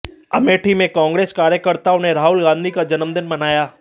अमेठी में कांग्रेस कार्यकर्ताओं ने राहुल गांधी का जन्मदिन मनाया